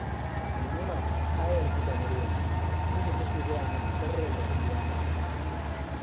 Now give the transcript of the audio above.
Maimuna ta yarda da Maryam, inda take gaya mata sirrin rayuwarta